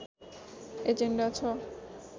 agenda छ